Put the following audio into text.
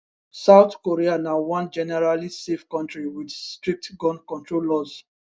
south korea na one generally safe kontri wit strict gun control laws